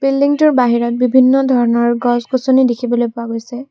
বিল্ডিংটোৰ বাহিৰত বিভিন্ন ধৰণৰ গছ-গছনি দেখিবলৈ পোৱা গৈছে।